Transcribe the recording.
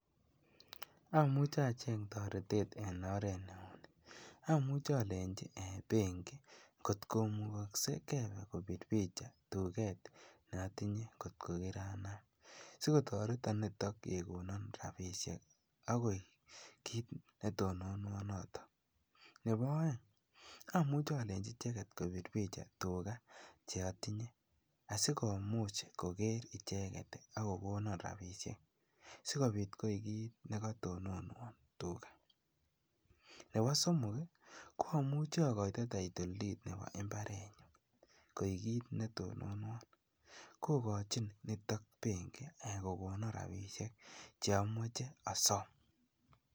Omuche acheng toretet en oreet neunii, omuche olenchi benki kot komukokse kebee kobir picha tuket notinye kot ko kiranam, sikotoreton niton kokonon rabishek akoik kiit netononwon noton, nebo oeng amuche olenchi icheket kobir bicha tukaa cheotinye asikomuch koker icheket ak kokonon rabishek sikobiit koik kiit nekotononwon tukaa, nebo somok ko amuche akoito title deed nebo imbarenyun koik kiit netononwon, kokochin nitok benki kokonon rabishek cheimuche osom.